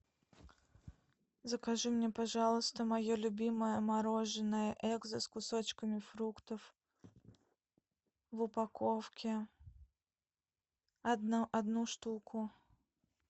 закажи мне пожалуйста мое любимое мороженое экзо с кусочками фруктов в упаковке одну штуку